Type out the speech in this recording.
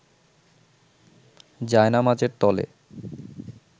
জায়নামাজের তলে